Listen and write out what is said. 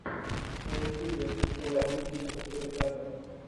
на ютубе заводи тимку суриката